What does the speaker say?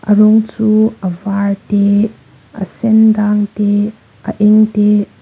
a rawng chu a var te a sen dang te a eng te--